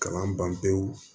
Kalan ban pewu